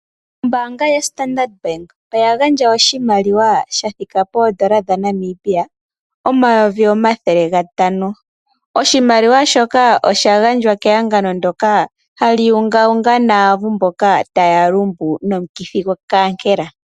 Ombanga yaStandard Bank oya gandja oshimaliwa shathika poodollar dhaNamibia omayovi omathele gatano. Oshimaliwa shoka osha gandjwa kehagano ndjoka hali ungawunga naavu mboka taya lumbu nomukithi gwokaankela.